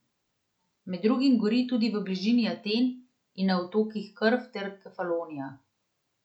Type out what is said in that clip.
Med drugim gori tudi v bližini Aten in na otokih Krf ter Kefalonija.